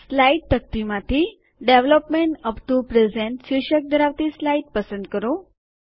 slide તકતીમાંથી development up to the present શીર્ષક ધરાવતી સ્લાઇડ પસંદ કરો